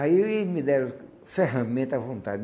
Aí eles me deram ferramenta à vontade.